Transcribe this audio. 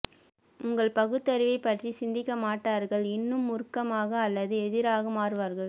உங்கள் பகுத்தறிவைப் பற்றி சிந்திக்கமாட்டார்கள் இன்னும் மூர்க்கமாக அல்லது எதிராக மாறுவார்கள்